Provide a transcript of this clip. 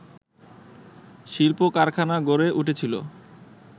শিল্প কারখানা গড়ে উঠেছিলো